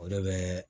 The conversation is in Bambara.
O de bɛ